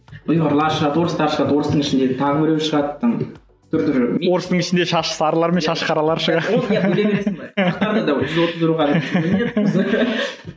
ұйғырлар шығады орыстар шығады орыстың ішіндегі тағы біреулері шығады да түр түрі орыстың ішінде шашы сарылар мен шашы қаралар шығады